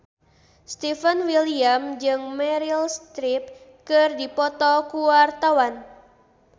Stefan William jeung Meryl Streep keur dipoto ku wartawan